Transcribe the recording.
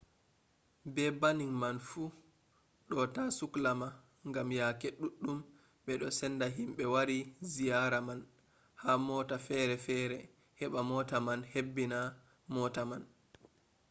be banning man fu ɗo ta sukla ma gam yake ɗuɗɗum ɓe ɗo senda himɓe wari ziyara man ha mota fere fere heɓa mota man hebbina mota man